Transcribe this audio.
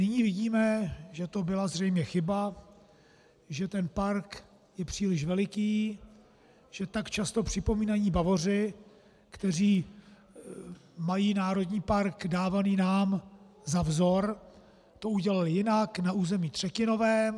Nyní vidíme, že to byla zřejmě chyba, že ten park je příliš veliký, že tak často připomínaní Bavoři, kteří mají národní park dávaný nám za vzor, to udělali jinak, na území třetinovém.